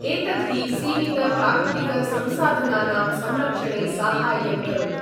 एतद् हि सीमितप्राकृतिकसंसाधनानां संरक्षणे साहाय्यं करोति।